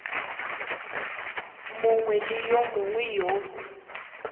mongwe le yo mongwe yo